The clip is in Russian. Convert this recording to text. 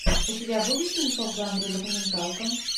у тебя будет кинцо в жанре документалка